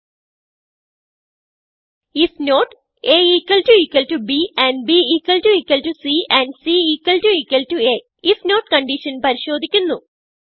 if not aബ് and bസി and cഅif നോട്ട് കൺഡിഷൻ പരിശോദിക്കുന്നു